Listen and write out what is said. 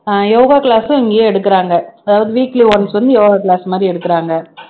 ஆஹ் yoga class உம் இங்கேயே எடுக்குறாங்க அதாவது weekly once வந்து யோகா class மாதிரி எடுக்குறாங்க